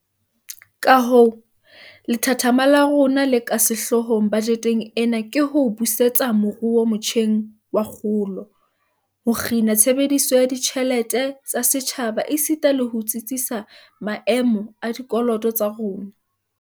Kahoo, lethathama la rona le ka sehloohong bajeteng ena ke ho busetsa moruo motjheng wa kgolo, ho kgina tshebediso ya ditjhelete tsa setjhaba esita le ho tsitsisa maemo a dikoloto tsa rona.